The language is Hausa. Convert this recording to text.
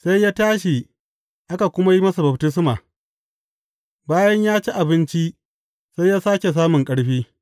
Sai ya tashi aka kuma yi masa baftisma, bayan ya ci abinci, sai sāke samun ƙarfi.